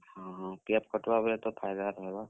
PF cut ବା ବେଲେ ତ ଫାଇଦା ରହେବା।